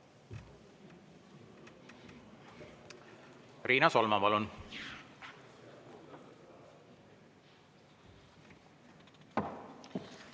Riina Solman, palun!